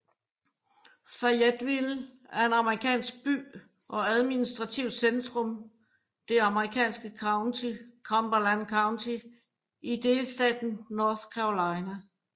Fayetteville er en amerikansk by og administrativt centrum det amerikanske county Cumberland County i delstaten North Carolina